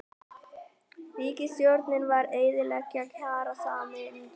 Ríkisstjórnin að eyðileggja kjarasamningana